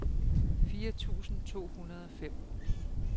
fire tusind to hundrede og fem